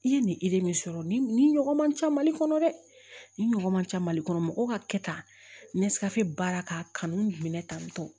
I ye nin min sɔrɔ ni nin ɲɔgɔn man ca mali kɔnɔ dɛ nin ɲɔgɔn man ca mali kɔnɔ mɔgɔw ka kɛ tan ni nesrase baara ka kanu minɛ tan tɔ